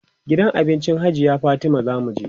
gidan abincin hajiya Fatima zamu je